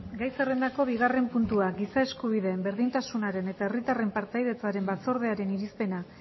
gai zerrendako bigarrena puntua giza eskubideen berdintasunaren eta herritarren partaidetzaren batzordearen irizpena